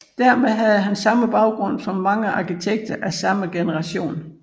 Dermed havde han samme baggrund som mange arkitekter af samme generation